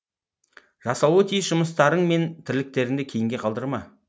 жасалуы тиіс жұмыстарың мен тірліктеріңді кейінге қалдырма